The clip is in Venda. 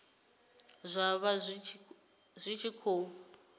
zwa vha zwi tshi khou